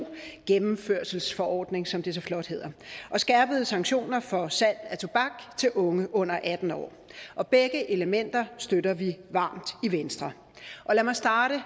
gennemførelsesforordning som det så flot hedder og skærpede sanktioner for salg af tobak til unge under atten år begge elementer støtter vi varmt i venstre og lad mig starte